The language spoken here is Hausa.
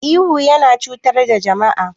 Ihu yana cutar da jama'a.